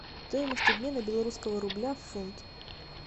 стоимость обмена белорусского рубля в фунт